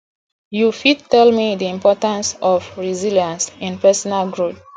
you fit tell me di importance of resilience in personal growth